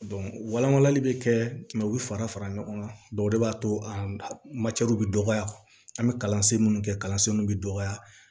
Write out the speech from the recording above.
wala walali bɛ kɛ u bɛ fara fara ɲɔgɔn kan o de b'a to a bɛ dɔgɔya an bɛ kalansen minnu kɛ kalansenw bɛ dɔgɔya